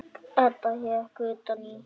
Edda hékk utan í.